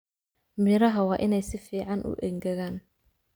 Miraha waa inay si fiican u engegaan